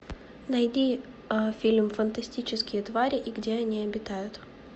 найди фильм фантастические твари и где они обитают